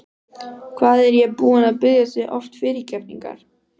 Hvað er ég búinn að biðja þig oft fyrirgefningar?